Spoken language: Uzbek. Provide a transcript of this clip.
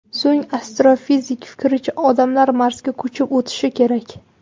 So‘ng, astrofizik fikricha, odamlar Marsga ko‘chib o‘tishi kerak.